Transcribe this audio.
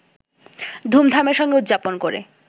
ধুমধামের সঙ্গে উদযাপন করে